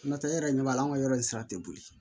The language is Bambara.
N'o tɛ e yɛrɛ ɲɛ b'a la anw ka yɔrɔ in sira tɛ boli